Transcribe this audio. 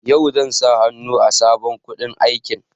Yau zan sa hannu a sabon kundin aikin.